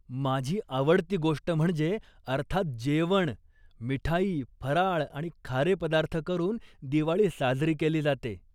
माझी आवडती गोष्ट म्हणजे अर्थात, जेवण. मिठाई, फराळ आणि खारे पदार्थ करून दिवाळी साजरी केली जाते.